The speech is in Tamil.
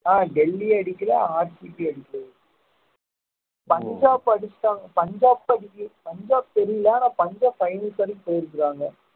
ஆஹ் டெல்லி அடிக்கல பஞ்சாப் அடிச்சிட்டாங்க பஞ்சாப் அடிக்கல பஞ்சாப் தெரில அனா பஞ்சாப் finals வரைக்கு போயிருக்காங்க